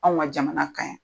An ka jamana ka ɲi.